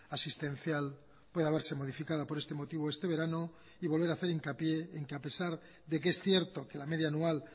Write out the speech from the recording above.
asistencial pueda verse modificada por este motivo este verano y volver hacer hincapié en que a pesar de que es cierto que la media anual